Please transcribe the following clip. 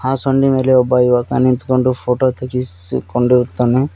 ಆ ಸೊಂಡಿ ಮೇಲೆ ಒಬ್ಬ ಯುವಕ ನಿಂತುಕೊಂಡು ಫೋಟೋ ತೆಗೆಸಿಕೊಂಡಿರುತ್ತಾನೆ.